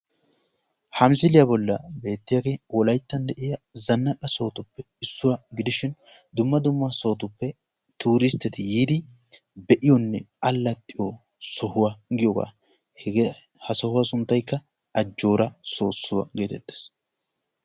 Ha misiliyaa bolli beettiyaage wolaytta zannaqa sohotuppe issuwaa gidishin dumma dumma sohuwaappe turusitetti yiidi be'iyoonne allaxiyoo sohuwaa giyoogaa. ha sohuwaa sunttaykka ajjoora soossuwaa getettees.